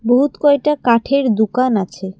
বহুত কয়টা কাঠের দুকান আছে।